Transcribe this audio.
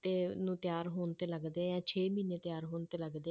ਤੇ ਨੂੰ ਤਿਆਰ ਹੋਣ ਤੇ ਲੱਗਦੇ ਹੈ ਛੇ ਮਹੀਨੇ ਤਿਆਰ ਹੋਣ ਤੇ ਲੱਗਦੇ,